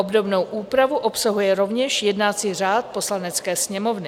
Obdobnou úpravu obsahuje rovněž jednací řád Poslanecké sněmovny.